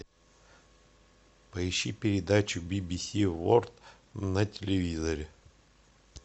поищи передачу би би си ворлд на телевизоре